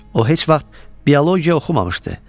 O heç vaxt biologiya oxumamışdı.